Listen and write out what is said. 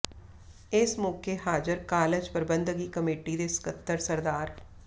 ਇਸ ਮੌਕੇ ਹਾਜ਼ਰ ਕਾਲਜ ਪ੍ਰਬੰਧਕੀ ਕਮੇਟੀ ਦੇ ਸਕੱਤਰ ਸ